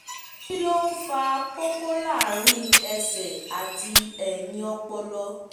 kí ló ń fa koko láàárín ẹsẹ̀ àti ẹ̀yìn ọpọlọ?